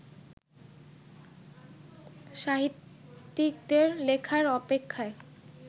সাহিত্যিকদের লেখার অপেক্ষায়